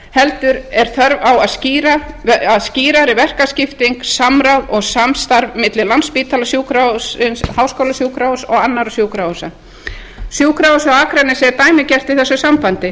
heldur er þörf á að skýrari verkaskipting samráð og samstarf milli landspítala háskólasjúkrahúss og annarra sjúkrahúsa sjúkrahúsið á akranesi er dæmigert í þessu sambandi